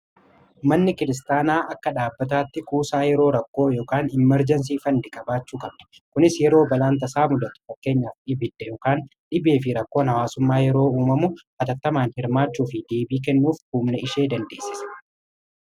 manni kiristaanaa akka dhaabbataatti kuusaa yeroo rakkoo y immerjensii fandi kabaachuu kabde kunis yeroo balaanta saa mudatu fakkeenyaaf dhibidde ykaan dhibee fi rakkoo hawaasummaa yeroo uumamu atattamaan hirmaachuu fi deebii kennuuf huumna ishee dandeessise